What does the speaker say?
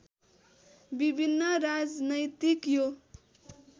विभिन्न राजनैतिक यो